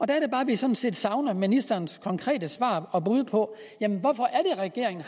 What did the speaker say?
der er det bare vi sådan set savner ministerens konkrete svar og bud på hvorfor regeringen